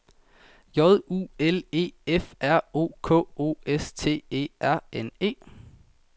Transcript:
J U L E F R O K O S T E R N E